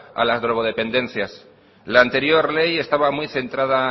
a las drogodependencias la anterior ley estaba muy centrada